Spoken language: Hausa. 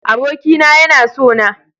Abokina yana sona.